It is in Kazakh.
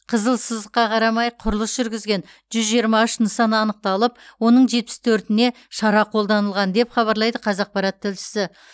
қызыл сызыққа қарамай құрылыс жүргізген жүз жиырма үш нысан анықталып оның жетпіс төртіне шара қолданылған деп хабарлайды қазақпарат тілшісі